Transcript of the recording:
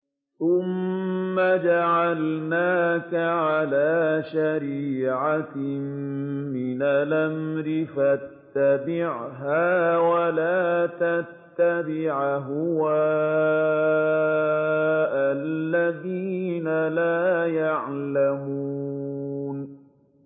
ثُمَّ جَعَلْنَاكَ عَلَىٰ شَرِيعَةٍ مِّنَ الْأَمْرِ فَاتَّبِعْهَا وَلَا تَتَّبِعْ أَهْوَاءَ الَّذِينَ لَا يَعْلَمُونَ